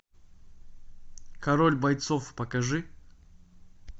король бойцов покажи